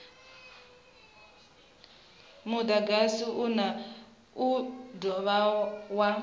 mudagasi u do dovha wa